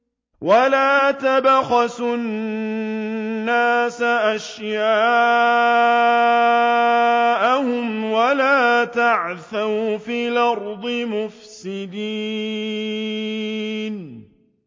وَلَا تَبْخَسُوا النَّاسَ أَشْيَاءَهُمْ وَلَا تَعْثَوْا فِي الْأَرْضِ مُفْسِدِينَ